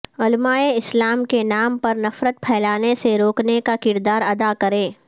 علماء اسلام کے نام پر نفرت پھیلانے سے روکنے کا کردار ادا کریں